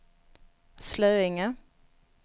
Slöinge